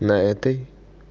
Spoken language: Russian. на этой